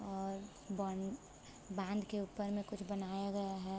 और bun band के ऊपर में कुछ बना हुआ है।